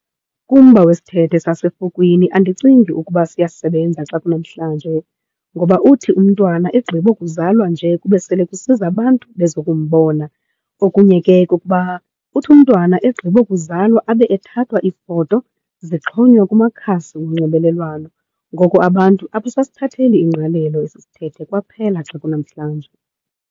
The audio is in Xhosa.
Kumba wesithethe sasefukwini andicingi ukuba siyasebenza xa kunamhlanje, ngoba uthi umntwana egqiba ukuzalwa nje kube sele kusiza abantu bezokumbona. Okunye ke kukuba uthi umntwana egqiba ukuzalwa abe ethathwa iifoto zixhonywe kumakhasi onxibelelwano. Ngoko abantu apho abasithatheli ingqalelo esi sithethe kwaphela xa kunamhlanje.